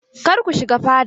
Kar ku shiga fada!